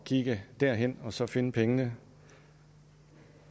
kigge derhen og så finde pengene